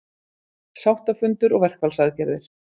Sáttafundur og verkfallsaðgerðir